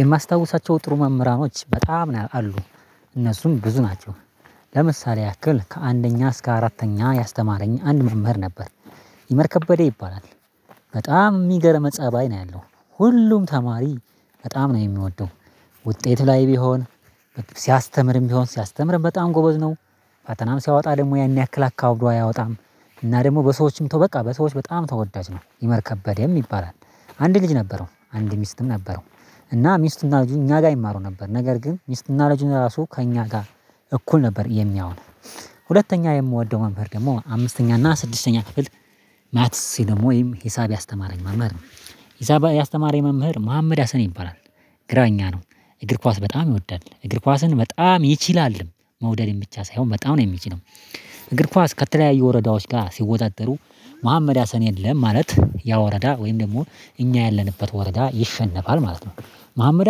የማስታውሳቸው ጥሩ መምህራኖች በጣም ነው አሉ እነሱም ብዙ ናቸው። ለምሳሌ ያክል ከአንደኛ እስከ አራተኛ ያስተማረኝ አንድ መምህር ነበር ይመር ከበደ ይባላል። በጣም የሚገርም ፀባይ ነው ያለው ሁሉም ተማሪ በጣም ነው የሚወደው። ውጤት ላይ ቢሆን ሲያስተምርም ቢሆን ሲያስተምርም በጣም ጎበዝ ነው። ፈተናም ሲያወጣ ደሞ ያን ያክል አካብዶ አያወጣም። እና ደሞ በሰዎችም ተው በቃ በሰዎች በጣም ተወዳጅ ነው ይመር ከበደም ይባላል። አንድ ልጅ ነበረው አንድ ሚስትም ነበረው። እና ሚስት እና ልጁ እኛ ጋር ይማሩ ነበር ነገር ግን ሚስትና ልጁን ለራሱ ከእኛ ጋር እኩል ነበር የሚያየው። ሁለተኛ የምወደው መምህር ደግሞ አምስተኛ እና ስድስተኛ ክፍል ማትሲ ደሞ ወይም ሂሳብ ያስተማረኝ መምህር ነው። ሂሳብ ያስተማረኝ መምህር መሀመድ ሀሰን ይባላል። ግራኛ ነው እግር ኳስ በጣም ይወዳል እግር ኳስን በጣም ይችላል። መውደድም ብቻ ሳይሆን በጣም ነው የሚችለው። እግር ኳስ ከተለያዩ ወረዳዎች ጋር ሲወዳደሩ መሀመድ ሀሰን የለም ማለት ያ ወረዳ ወይም ደግሞ እኛ ያለንበት ወረዳ ይሸነፋል ማለት ነው። መሀመድ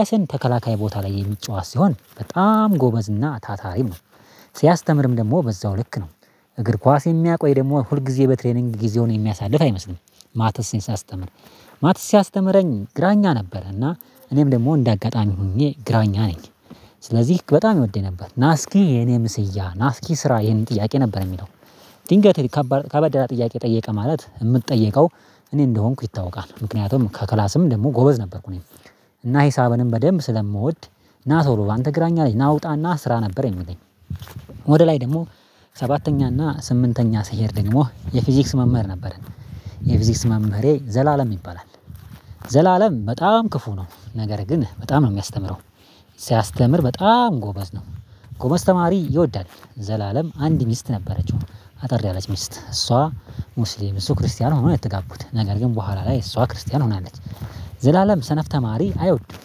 ሀሰን ተከላካይ ቦታ ላይ የሚጫወት ሲሆን በጣም ጎበዝ እና ታታሪም ነው። ሲያስተምርም ደግሞ በዛው ልክ ነው እግር ኳስ የሚያቆይ ደግሞ ሁል ጊዜ በትሬኒንግ ጊዜውን የሚያሳልፍ አይመስልም። ማትስን ሲያስተምር ማትስ ሲያስተምረኝ ግራኛ ነበረ እና እኔም ደግሞ እንደ አጋጣሚ ሆኜ ግራኛ ነኝ። ስለዚህ በጣም ይወደኝ ነበር ናስኪ የኔ ምስያ ናስኪ ስራ ይሄንን ጥያቄ ነበር የሚለው። ድንገት ከባ ከበድ ያ ጥያቄ ጠየቀ ማለት የምጠየቀው እኔ እንደሆንኩ ይታወቃል ምክንያቱም ከክላስም ደግሞ ጎበዝ ነበርኩ እኔ። እና ሂሳብንም በደንብ ስለምወድ ና ሶሎ አንተ ግራኛ ልጅ ና ውጣ ና ስራ ነበር የምለኝ። ወደ ላይ ደግሞ ሰባተኛ እና ስምንተኛ ስሄድ ደግሞ የፊዚክስ መምህር ነበረን የፊዚክስ መምህሬ ዘላለም ይባላል። ዘላለም በጣም ክፉ ነው ነገር ግን በጣም ነው የሚያስተምረው ሲያስተምር በጣም ጎበዝ ነው። ጎበዝ ተማሪ ይወዳል ዘላለም አንድ ሚስት ነበረችው አጠር ያለች ሚስት እሷ ሙስሊም እሱ ክርስቲያን ሆኖ የተጋቡት ነገር ግን በኋላ ላይ እሷ ክርስቲያን ሆናለች። ዘላለም ሰነፍ ተማሪ አይወድም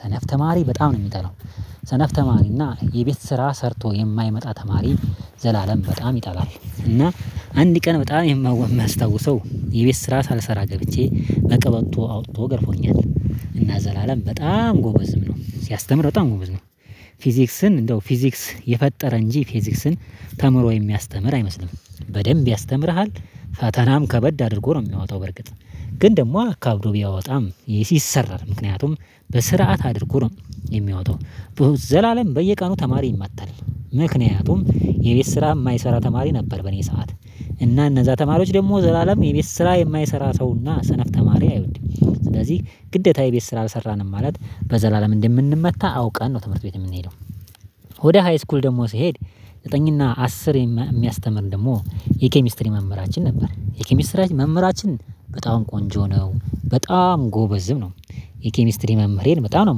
ሰነፍ ተማሪ በጣም ነው የሚጠላው። ሰነፍ ተማሪ እና የቤት ስራ ሰርቶ የማይመጣ ተማሪ ዘላለም በጣም ይጠባል እና አንድ ቀን በጣም የማው የማስታውሰው የቤት ስራ ሳልሰራ ገብቼ በቀበቶ አውጥቶ ገርፎኛል። እና ዘላለም በጣም ጎበዝም ነው ሲያስተምር በጣም ጎበዝ ነው። ፊዚክስን እንደው ፊዚክስ የፈጠረ እንጂ ፊዚክስን ተምሮ የሚያስተምር አይመስልም በደንብ ያስተምርሃል ፈተናም ከበድ አድርጎ ነው የሚያወጣው በርግጥ ግን ደግሞ አካብዶ ቢያወጣም ይሰራል ምክንያቱም በስርዓት አድርጎ ነው የሚያወጣው። ዘላለም በየቀኑ ተማሪ ይማታል ምክንያቱም የቤት ስራ የማይሰራ ተማሪ ነበር በኔ ሰዓት እና እነዛ ተማሪዎች ደግሞ ዘላለም የቤት ስራ የማይሰራ ሰው እና ሰነፍ ተማሪ አይወደም ስለዚህ ግዴታ የቤት ስራ አልሰራንም ማለት በዘላለም እንደምንመታ አውቀን ነው ትምህርት ቤት የምንሄደው። ወደ ሃይስኩል ደግሞ ሲሄድ ዘጠኝ እና አስር የሚያስተምር ደግሞ የኬሚስትሪ መምህራችን ነበር የኬሚስትሪ መምህራችን በጣም ቆንጆ ነው በጣም ጎበዝም ነው። የኬሚስትሪ መምህሬን በጣም ነው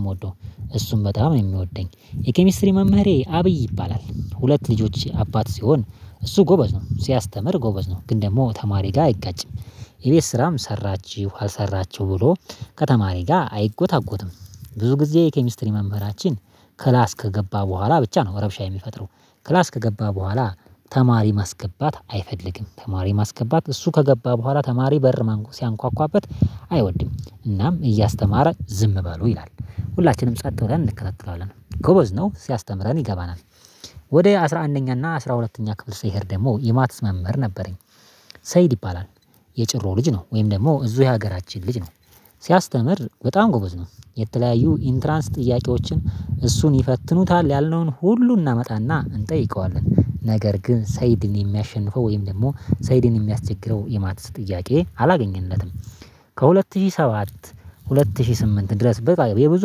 የምወደው እሱም በጣም የሚወደኝ የኬሚስትሪ መምህሬ አብይ ይባላል ሁለት ልጆች አባት ሲሆን እሱ ጎበዝ ነው ሲያስተምር ጎበዝ ነው ግን ደግሞ ተማሪ ጋር አይጋጭም። የቤት ስራም ሰራችሁ አልሰራችሁም ብሎ ከተማሪ ጋር አይጎታጎትም። ብዙ ጊዜ ኬሚስትሪ መምህራችን ክላስ ከገባ በኋላ ብቻ ነው ረብሻ የሚፈጥረው ክላስ ከገባ በኋላ ተማሪ ማስገባት አይፈልግም ተማሪ ማስገባት እሱ ከገባ በኋላ ተማሪ በር ሲያንኳኳበት አይወድም እናም እያስተማረ ዝም በሉ ይላል ሁላችንም ጸጥ ብለን እንከታተላለን ጎበዝ ነው ሲያስተምረን ይገባናል። ወደ አስራ አንደኛና አስራ ሁለተኛ ክፍል ስሄድ ደግሞ የማትስ መምህር ነበረኝ። ሰይድ ይባላል። የጭሮ ልጅ ነው ወይም ደግሞ እዙ የሀገራችን ልጅ ነው። ሲያስተምር በጣም ጎበዝ ነው። የተለያዩ ኢንትራንስ ጥያቄዎችን እሱን ይፈትኑታል ያልነውን ሁሉ እናመጣና እንጠይቀዋለን ነገር ግን ሰይድን የሚያሸንፈው ወይም ደግሞ ሰይድን የሚያስቸግረው የማትስ ጥያቄ አላገኘንለትም። ከሁለት ሺህ ሰባት ሁለት ሺህ ስምንት ድረስ በፋ የብዙ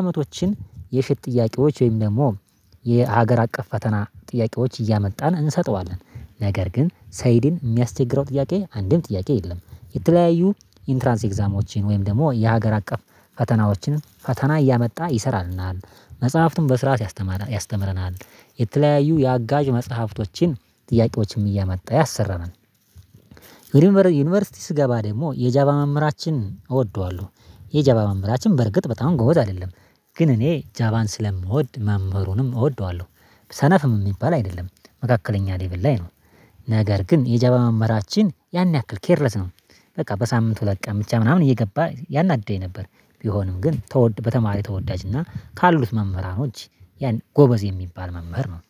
አመቶችን የሽት ጥያቄዎች ወይም ደግሞ የሀገር አቀፍ ፈተና ጥያቄዎች እያመጣን እንሰጠዋለን ነገር ግን ሰይድን የሚያስቸግረው ጥያቄ አንድም ጥያቄ የለም። የተለያዩ ኢንትራንስ ኤግዛሞችን ወይም ደግሞ የሀገር አቀፍ ፈተናዎችን ፈተና እያመጣ ይሰራልናል። መጽሐፍቱን በስርዓት ያስተማረ ያስተምረናል። የተለያዩ የአጋዥ መጽሐፍቶችን ጥያቄዎችን እያመጣ ያሰራናል። ዩኒቨርሲቲ ስገባ ደግሞ የጃባ መምህራችን እወደዋለሁ። የጃባ መምህራችን በርግጥ በጣም ጎበዝ አይደለም ግን እኔ ጃባን ስለምወድ መምህሩንም እወደዋለሁ። ሰነፍም የሚባል አይደለም መካከለኛ ሌቭል ላይ ነው። ነገር ግን የጃባ መምህራችን ያን ያክል ኬርለስ ነው። በቃ በሳምንቱ ለቀምቻ እየገባ ያናድደኝ ነበር። ቢሆንም ግን ተወድ በተማሪ ተወዳጅ እና ካሉት መምህራኖች ያን ጎበዝ የሚባል መምህር ነው